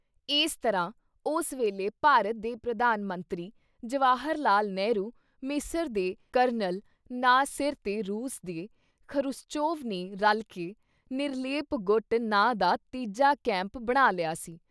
ਏਸੇ ਤਰ੍ਹਾਂ ਉਸ ਵੇਲੇ ਭਾਰਤ ਦੇ ਪ੍ਰਧਾਨ ਮੰਤਰੀ ਜਵਾਹਰ ਲਾਲ “ਨਹਿਰੂ” ਮਿਸਰ ਦੇ ਕਰਨਲ ਨਾ ਸਿਰ ‘ਤੇ ਰੂਸ ਦੇ ਖ਼ਰੁਸਚੋਵ ਨੇ ਰਲ਼ਕੇ “ਨਿਰਲੇਪ-ਗੁੱਟ” ਨਾਂ ਦਾ ਤੀਜਾ ਕੈਂਪ ਬਣਾ ਲਿਆ ਸੀ।